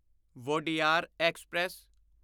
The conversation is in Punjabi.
ਵੋਡਿਆਰ ਐਕਸਪ੍ਰੈਸ